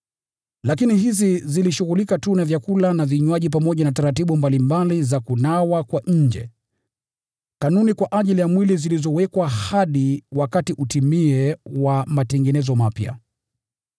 Lakini hizi zilishughulika tu na vyakula na vinywaji, pamoja na taratibu mbalimbali za kunawa kwa nje, kanuni kwa ajili ya mwili zilizowekwa hadi wakati utimie wa matengenezo mapya.